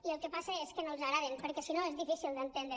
i el que passa és que no els agraden perquè si no és difícil d’entendre